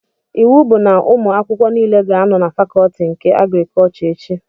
Iwu bụ na ụmụ akwụkwọ nile ga-anọ na fakọtị nke agrikọchọ echi!